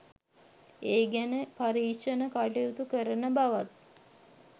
ඒ ගැන පරීක්ෂණ කටයුතු කරන බවත්